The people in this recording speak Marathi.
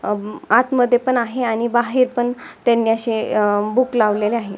आतमध्ये पण आहे आणि बाहेर पण त्यांनी अशे बूक लावलेले आहे.